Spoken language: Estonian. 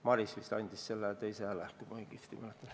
Maris vist andis teise hääle, kui ma õigesti mäletan.